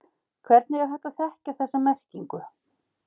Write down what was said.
Hvernig er hægt að þekkja þessa merkingu?